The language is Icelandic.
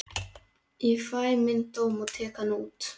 Ég fæ minn dóm og tek hann út.